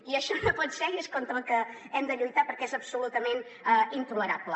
i això no pot ser i és contra el que hem de lluitar perquè és absolutament intolerable